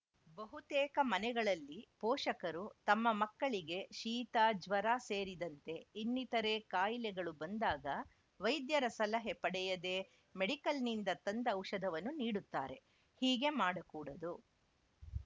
ಬಹುತೇಕ ಮನೆಗಳಲ್ಲಿ ಪೋಷಕರು ತಮ್ಮ ಮಕ್ಕಳಿಗೆ ಶೀತ ಜ್ವರ ಸೇರಿದಂತೆ ಇನ್ನಿತರೇ ಕಾಯಿಲೆಗಳು ಬಂದಾಗ ವೈದ್ಯರ ಸಲಹೆ ಪಡೆಯದೇ ಮೆಡಿಕಲ್‌ನಿಂದ ತಂದ ಔಷಧವನ್ನು ನೀಡುತ್ತಾರೆ ಹೀಗೆ ಮಾಡಕೂಡದು